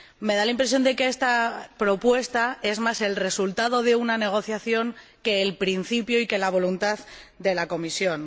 Me da la impresión de que esta propuesta es más el resultado de una negociación que el principio y que la voluntad de la Comisión.